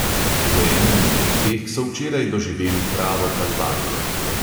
V eni izmed teh so včeraj doživeli pravo kalvarijo.